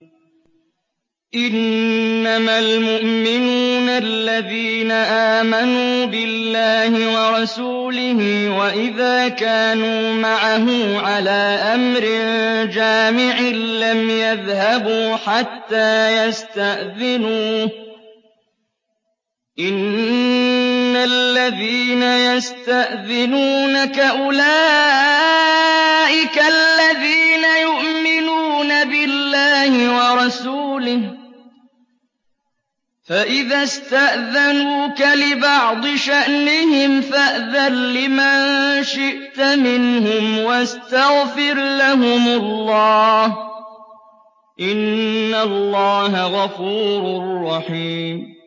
إِنَّمَا الْمُؤْمِنُونَ الَّذِينَ آمَنُوا بِاللَّهِ وَرَسُولِهِ وَإِذَا كَانُوا مَعَهُ عَلَىٰ أَمْرٍ جَامِعٍ لَّمْ يَذْهَبُوا حَتَّىٰ يَسْتَأْذِنُوهُ ۚ إِنَّ الَّذِينَ يَسْتَأْذِنُونَكَ أُولَٰئِكَ الَّذِينَ يُؤْمِنُونَ بِاللَّهِ وَرَسُولِهِ ۚ فَإِذَا اسْتَأْذَنُوكَ لِبَعْضِ شَأْنِهِمْ فَأْذَن لِّمَن شِئْتَ مِنْهُمْ وَاسْتَغْفِرْ لَهُمُ اللَّهَ ۚ إِنَّ اللَّهَ غَفُورٌ رَّحِيمٌ